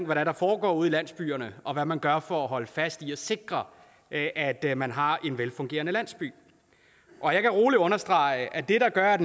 hvad der foregår ude i landsbyerne og hvad man gør for at holde fast i at sikre at at man har en velfungerende landsby og jeg kan roligt understrege at det der gør at